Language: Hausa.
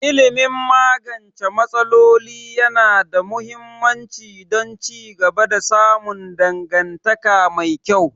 Ilimin magance matsaloli yana da muhimmanci don ci gaba da samun dangantaka mai kyau